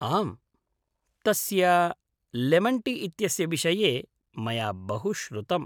आम्, तस्य लेमन्टी इत्यस्य विषये मया बहु श्रुतम्।